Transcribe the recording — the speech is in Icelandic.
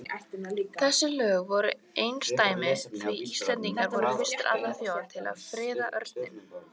Þessi lög voru einsdæmi því Íslendingar voru fyrstir allra þjóða til að friða örninn.